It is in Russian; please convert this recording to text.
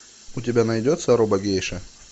у тебя найдется робогейша